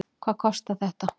Hvað kostar þetta?